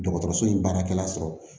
Dɔgɔtɔrɔso in baarakɛla sɔrɔ